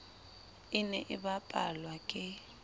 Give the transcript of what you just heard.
e ne e bapalwa ke